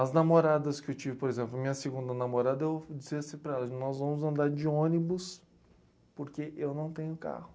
As namoradas que eu tive, por exemplo, minha segunda namorada, eu disse assim para ela, nós vamos andar de ônibus porque eu não tenho carro.